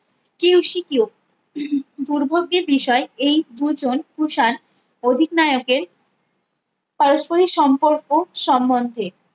Q C Q দুর্ভাগ্যের বিষয় এই দুজন কুষাণ অধিনায়কের পারস্পরিক সম্পর্ক সম্বন্ধে